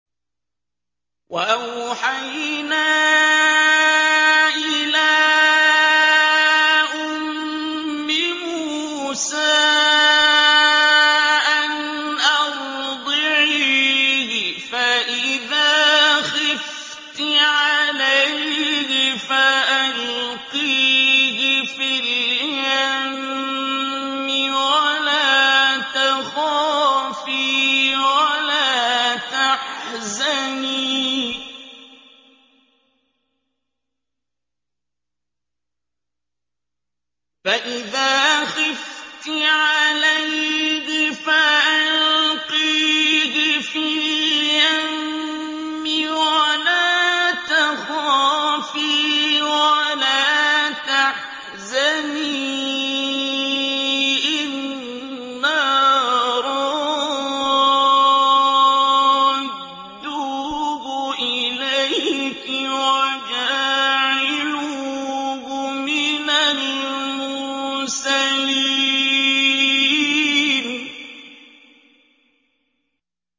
وَأَوْحَيْنَا إِلَىٰ أُمِّ مُوسَىٰ أَنْ أَرْضِعِيهِ ۖ فَإِذَا خِفْتِ عَلَيْهِ فَأَلْقِيهِ فِي الْيَمِّ وَلَا تَخَافِي وَلَا تَحْزَنِي ۖ إِنَّا رَادُّوهُ إِلَيْكِ وَجَاعِلُوهُ مِنَ الْمُرْسَلِينَ